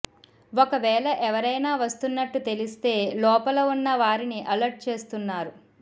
ఒకవేళ ఎవరైనా వస్తున్నట్టు తెలిస్తే లోపల ఉన్న వారిని అలర్ట్ చేస్తున్నారు